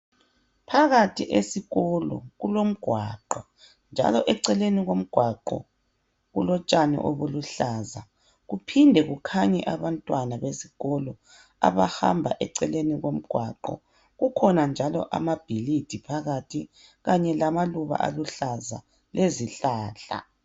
Phakathi esikolo kulomgwaqo njalo eceleni komgwaqo kulotshani obuluhlaza kuphinde kukhanye abantwana besikolo abahamba eceleni komgwaqo. Kukhona njalo amabhilidi phakathi kanye lamaluba aluhlaza lezihlahla.